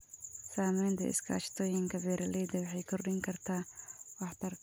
Samaynta iskaashatooyinka beeralayda waxay kordhin kartaa waxtarka.